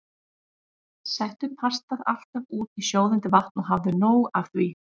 Settu pastað alltaf út í sjóðandi vatn og hafðu nóg af því.